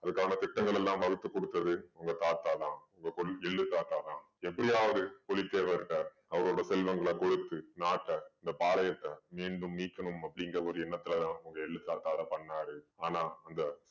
அதுக்கு அவனுக்கு திட்டங்களெல்லாம் வகுத்து கொடுத்தது உங்க தாத்தா தான். உங்க கொள்ளு~ எள்ளு தாத்தா தான். எப்படியாவது புலித்தேவர் கிட்ட அவரோட செல்வங்கள கொடுத்து நாட்ட இந்த பாளயத்த மீண்டும் மீட்கணும் அப்படீங்கற ஒரு எண்ணத்துல தான் உங்க எள்ளு தாத்தா அதை பண்ணாரு. ஆனா அந்த